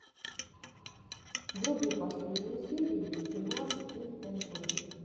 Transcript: вруби последнюю серию ти мар тин эн ту